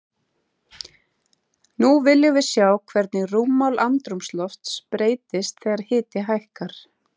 Nú viljum við sjá hvernig rúmmál andrúmsloft breytist þegar hiti hækkar.